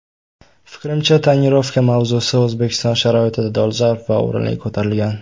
Fikrimcha, ‘tonirovka’ mavzusi O‘zbekiston sharoitida dolzarb va o‘rinli ko‘tarilgan.